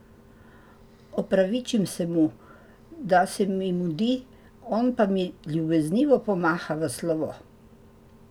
Opravičim se mu, da se mi mudi, on pa mi ljubeznivo pomaha v slovo.